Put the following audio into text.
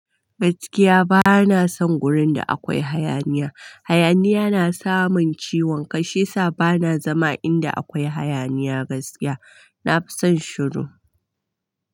Gaskiya bana son wurin da akwai hayaniya. Hayaniya na samamin ciwon ƙai shi yasa bana zama inda akwai hayaniya gaskiya. Na fi son shiru.